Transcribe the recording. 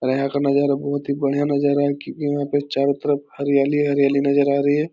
और यहाँ का नजारा बहुत बढ़िया नजारा है क्योंकि वहाँ पे चारों तरफ हरियाली ही हरियाली नजर आ रही है।